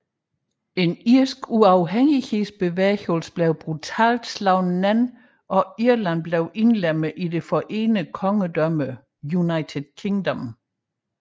En irsk uafhængighedsbevægelse blev brutalt slået ned og Irland indlemmet i det forenede kongedømme United Kingdom